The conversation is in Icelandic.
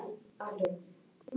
Ég get símsent honum peninga.